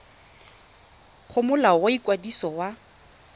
go molao wa ikwadiso wa